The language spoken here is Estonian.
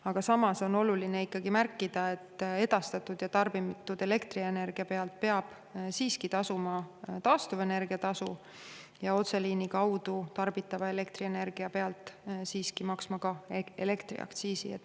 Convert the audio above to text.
Aga samas on oluline märkida, et edastatud ja tarbitud elektrienergia pealt peab siiski tasuma taastuvenergia tasu ja otseliini kaudu tarbitava elektrienergia pealt peab maksma elektriaktsiisi.